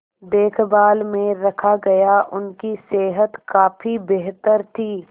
देखभाल में रखा गया उनकी सेहत काफी बेहतर थी